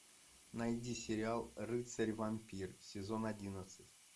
найди сериал рыцарь вампир сезон одиннадцать